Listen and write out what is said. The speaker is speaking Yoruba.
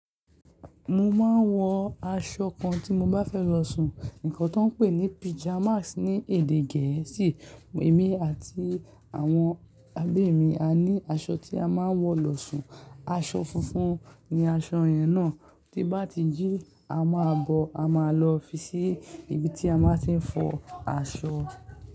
Mo máa ń wọ aṣọ kan tí mo bá fẹ́ lọ sùn. Ǹkan tó ń pè ní pajamas ni èdè Gẹ̀ẹ́sì. Èmi àti àwọn àbemi a ní aṣọ tí a máa ń wọ̀ lọ sùn. Aṣọ funfun ni aṣọ yẹn náà. Ti bá ti jí, a máa bọ, a máa lọ fi sí ibi tí a máa ti ń fọ aṣọ.